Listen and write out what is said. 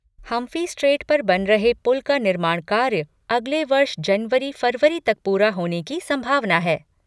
Humphrey strait पर बन रहे पुल का निर्माण कार्य अगले वर्ष जनवरी फरवरी तक पूरा होने की संभावना है।